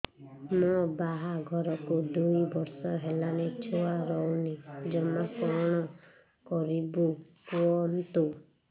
ମୋ ବାହାଘରକୁ ଦୁଇ ବର୍ଷ ହେଲାଣି ଛୁଆ ରହୁନି ଜମା କଣ କରିବୁ କୁହନ୍ତୁ